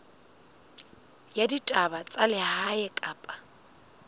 ya ditaba tsa lehae kapa